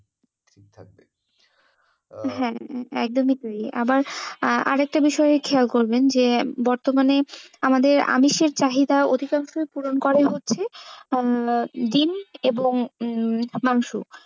হ্যাঁ, একদমই তাই আবার আরেকটা বিষয় খেয়াল করবেন যে বর্তমানে আমাদের আমিষের চাহিদা অধিকাংশই পুরন করে হচ্ছে উম ডিম এবং উম মাংস।